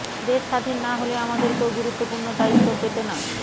দেশ স্বাধীন না হলে আমাদের কেউ গুরুত্বপূর্ণ দায়িত্ব পেত না